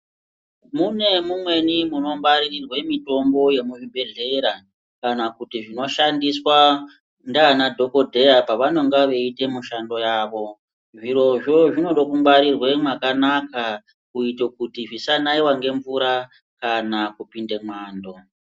Mune mumweni munongwarirwe mitombo yemuzvibhedhlera kana kuti zvinoshandiswa ndiana dhokodheya pavanonga veiite mushando yavo. Zvirozvo zvinode kungwarirwa mwakanaka kuitire kuti zvisanaiwa ngemvura kana kupinde mwando.